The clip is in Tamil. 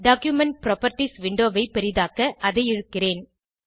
டாக்குமென்ட் புராப்பர்ட்டீஸ் விண்டோவை பெரிதாக்க அதை இழுக்கிறேன்